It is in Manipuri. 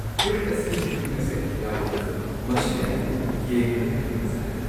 ꯐꯨꯔꯤꯠ ꯑꯁꯤꯒꯤ ꯐꯤꯠꯇꯤꯡ ꯑꯁꯦ ꯌꯥꯝꯅ ꯐꯖꯩ꯫ ꯃꯁꯤꯅ ꯑꯩꯕꯨ ꯌꯦꯡꯕꯗ ꯍꯦꯟꯅ ꯐꯖꯍꯜꯂꯤ꯫